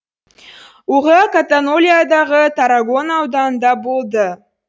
оқиға катанолиядағы таррагона ауданында болды